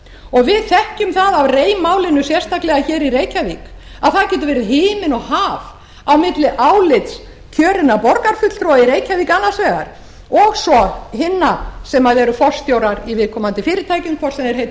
og við þekkjum það af rei málinu sérstaklega í reykjavík að það getur verið himinn og haf á milli álits kjörinna borgarfulltrúa í reykjavík annars vegar og svo hinna sem eru forstjórar í viðkomandi fyrirtækjum hvort sem þau heita